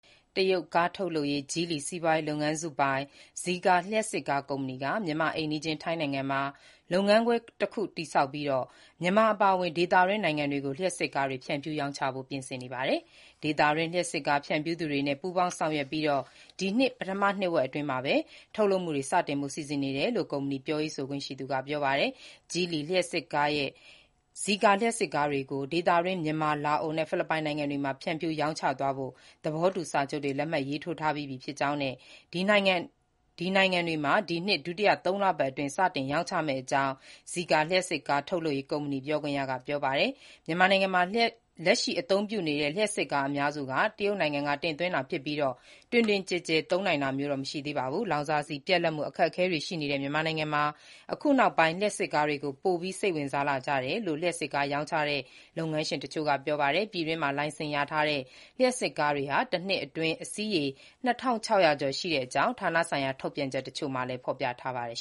တရုတ် ကားထုတ်လုပ်ရေး Geely စီးပွားရေးလုပ်ငန်းစုပိုင် Zeekr လျှပ်စစ်ကား ကုမ္ပဏီက မြန်မာ့အိမ်နီးချင်း ထိုင်းနိုင်ငံမှာ လုပ်ငန်းခွဲတခု တည်ထောင်ပြီး မြန်မာ အပါအဝင် ဒေသတွင်း နိုင်ငံတွေကို လျှပ်စစ်ကားတွေ ဖြန့်ဖြူး ရောင်းချဖို့ ပြင်နေပါတယ်။ ဒေသတွင်း လျှပ်စစ်ကား ဖြန့်ဖြူးသူတွေနဲ့ ပူးပေါင်း ဆောင်ရွက်ပြီး ဒီနှစ် ပထမနှစ်ဝက် အတွင်းမှာပဲ ထုတ်လုပ်မှုတွေ စတင်ဖို့ စီစဥ်နေတယ်လို့ ကုမ္ပဏီ ပြောခွင့်ရက ပြောပါတယ်။ Geely လုပ်ငန်းစုရဲ့ Zeekr လျှပ်စစ်ကားတွေကို ဒေသတွင်း မြန်မာ၊ လာအို နဲ့ ဖိလစ်ပိုင်နိုင်ငံတွေမှာ ဖြန့်ဖြူး ရောင်းချသွားဖို့အတွက် သဘောတူစာချုပ်တွေ လက်မှတ် ရေးထိုးထားပြီးပြီ ဖြစ်ကြောင်းနဲ့ ဒီနိုင်ငံတွေမှာတော့ ဒီနှစ် ဒုတိယ သုံးလပတ်အတွင်း စတင် ရောင်းချမယ့်အကြောင်း Zeekr လျှပ်စစ်ကား ထုတ်လုပ်ရေး ကုမ္ပဏီ ပြောခွင့်ရ က ပြောပါတယ်။ မြန်မာနိုင်ငံမှာ လက်ရှိ အသုံးပြုနေတဲ့ လျှပ်စစ်ကား အများစုက တရုတ်နိုင်ငံက တင်သွင်းတာ ဖြစ်ပြီး တွင်တွင်ကျယ်ကျယ် သုံးနိုင်တာမျိုးတော့ မရှိသေးပါဘူး။ လောင်စာဆီ ပြတ်လပ်မှု အခက်အခဲတွေ ရှိနေတဲ့ မြန်မာနိုင်ငံမှာ အခုနောက်ပိုင်း လျှပ်စစ်ကားတွေကို ပိုပြီး စိတ်ဝင်စားလာကြတယ်လို့ လျှပ်စစ်ကား ရောင်းချတဲ့ လုပ်ငန်းရှင်တချို့က ပြောပါတယ်။ ပြည်တွင်းမှာ လိုင်စင်ရထားတဲ့ လျှပ်စစ်ကား တနှစ်အတွင်း အစီးရေ ၂,၆၀၀ ကျော် ရှိတဲ့အကြောင်း ဌာနဆိုင်ရာ ထုတ်ပြန်ချက်တချို့မှာ ဖော်ပြထားပါတယ်